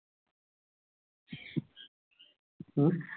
হম